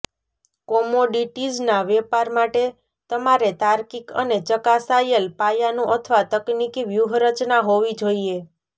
કોમોડિટીઝના વેપાર માટે તમારે તાર્કિક અને ચકાસાયેલ પાયાનું અથવા તકનીકી વ્યૂહરચના હોવી જોઈએ